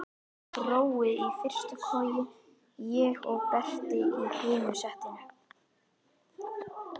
Brói í fyrstu koju, ég og Berti í hinu settinu.